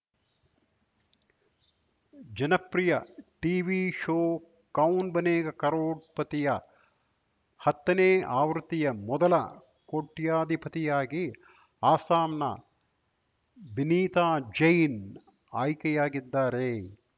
ಜನಪ್ರಿಯ TV show Kaun Banega ಕರೋಡ್‌ಪತಿಯ ಹತ್ತನೇ ಆವೃತ್ತಿಯ ಮೊದಲ ಕೋಟ್ಯಧಿಪತಿಯಾಗಿ ಅಸ್ಸಾಂನ ಬಿನೀತಾ ಜೈನ್‌ ಆಯ್ಕೆಯಾಗಿದ್ದಾರೆ